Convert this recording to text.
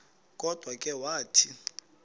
kodwa ke wathi